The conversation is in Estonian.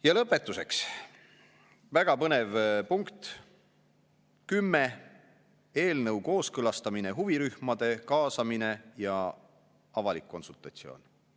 Ja lõpetuseks väga põnev punkt 10: eelnõu kooskõlastamine, huvirühmade kaasamine ja avalik konsultatsioon.